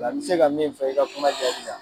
Nka n bi se ka min fɔ i ka kuma jaabi la